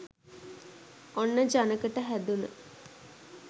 ඔන්න ජනකට හැදුන